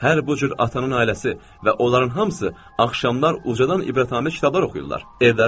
Hər bu cür atanın ailəsi və onların hamısı axşamlar ucadan ibrətamiz kitablar oxuyurlar.